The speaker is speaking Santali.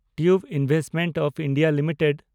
tube Investments of India limited